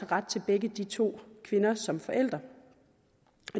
ret til begge de to kvinder som forældre